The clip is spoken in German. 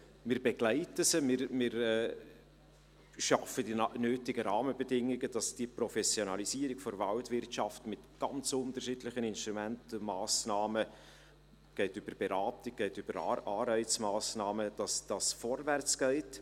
Wir begleiten sie, wir schaffen die nötigen Rahmenbedingungen, damit die Professionalisierung der Waldwirtschaft mit ganz unterschiedlichen Instrumenten und Massnahmen – von Beratung bis hin zu Anreizmassnahmen – vorwärtsgeht.